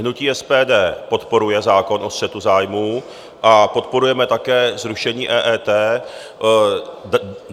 Hnutí SPD podporuje zákon o střetu zájmů a podporujeme také zrušení EET.